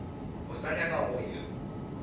o sa nyaka go ya